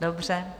Dobře.